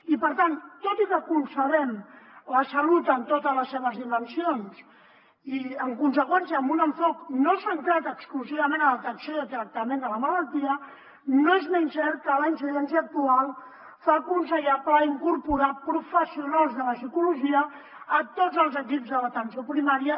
i per tant tot i que concebem la salut en totes les seves dimensions i en conseqüència amb un enfocament no centrat exclusivament en la detecció i tractament de la malaltia no és menys cert que la incidència actual fa aconsellable incorporar professionals de la psicologia a tots els equips de l’atenció primària